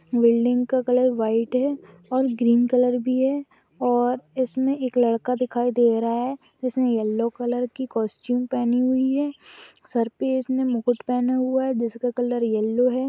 Building का colour white है और ग्रीन भी है और इसमें एक लड़का दिखाई दे रहा है जो येलो कलर की कॉस्ट्यूम पेहनी है सर पे इसने मुकुट पेनहा हुआ है जिसका कलर येलो है।